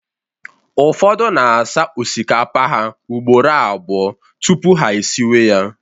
ụfọdụ na asa osikapa ha ugboro abụọ tupu ha esiwe ya